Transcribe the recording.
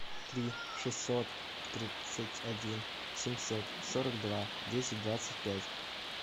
три шестьсот тридцать один семьсот сорок два десять двадцать пять